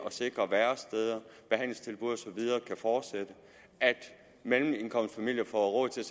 at sikre at væresteder behandlingstilbud og så videre kan fortsætte at mellemindkomstfamilier får råd til